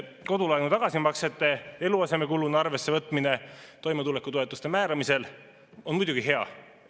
Kodulaenu tagasimaksete eluasemekuluna arvessevõtmine toimetulekutoetuste määramisel on muidugi hea.